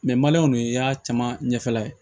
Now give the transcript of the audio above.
i y'a caman ɲɛfɛla ye